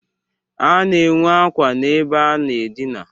A na-enwe akwa n'ebe a na-adịna.